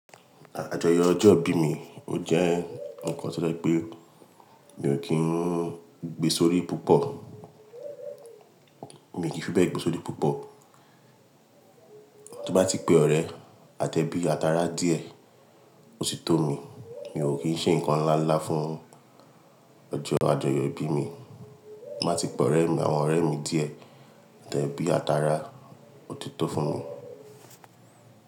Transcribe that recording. Àjọyọ̀ ọjọ́ ìbí mi ò jẹ́ ǹkan tó dá pé mi ò kí ń gbé sórí púpọ̀. Mi kì í fẹ́ gbé sórí púpọ̀. Tí mo bá ti pe ọ̀rẹ́ àtẹbí àtara díẹ̀, ó ti tó mi. Mio kii ṣe nǹkan nlanla fún ọjọ́ àjọyọ̀ ìbí mi. Ti mo ba ti pe àwọn ọ̀rẹ́ mi díẹ̀, atebi àtara, ó ti tó fún mi.